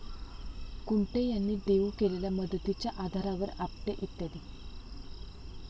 कुंटे यांनी देऊ केलेल्या मदतीच्या आधारावर आपटे इ.